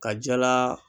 Ka jala